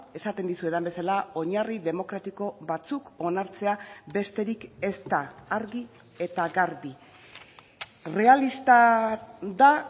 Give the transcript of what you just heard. esaten dizuedan bezala oinarri demokratiko batzuk onartzea besterik ez da argi eta garbi errealista da